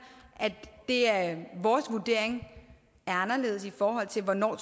at vores vurdering er anderledes i forhold til hvornår